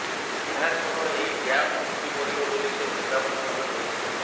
ଏହାସହ ଏହି ଡ୍ୟାମ ଭୁଶୁଡି ପଡିବ ବୋଲି ସେ ଚେତାବନୀ ମଧ୍ୟ ଦେଇଛନ୍ତି